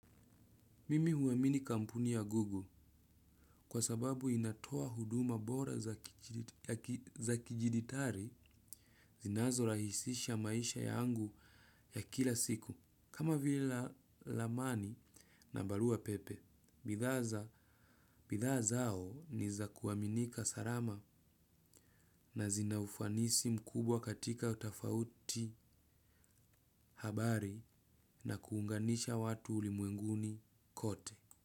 Mimi huamini kampuni ya Google, kwasababu inatoa huduma bora za kidijitali zinazorahisisha maisha yangu ya kila siku. Kama vile ramani na barua pepe, bidhaa zao ni za kuaminika, salama na zina ufanisi mkubwa katika utofauti habari na kuunganisha watu ulimwenguni kote.